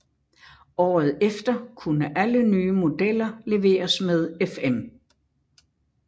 Året efter kunne alle nye modeller leveres med FM